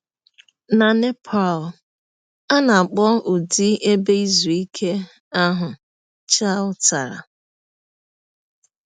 Na Nepal, a na - akpọ ụdị ebe izu ike ahụ bụ chautara.